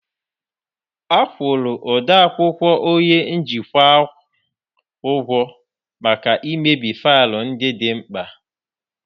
A kwụrụ odeakwụkwọ onye njikwa ahụ ụgwọ maka imebi faịlụ ndị dị mkpa